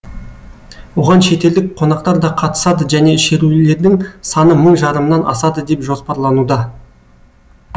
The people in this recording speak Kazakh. оған шетелдік қонақтар да қатысады және шерулердің саны мың жарымнан асады деп жоспарлануда